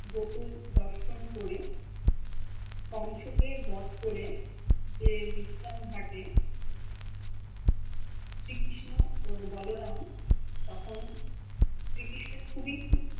গোকুল দর্শন করে কোংশকে বোত করে যে বিশ্রাম ঘাটে শ্রী কৃষ্ণ ও বলো রাম তখন শ্রীকৃষ্ণ খুবি খুব